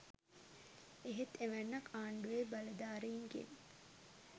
එහෙත් එවැන්නක් ආණ්ඩුවේ බලධාරීන්ගෙන්